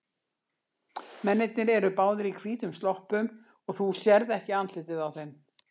Mennirnir eru báðir í hvítum sloppum og þú sérð ekki andlitið á þeim.